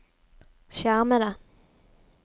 skjermede